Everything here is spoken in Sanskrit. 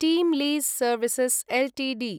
team lease services Ltd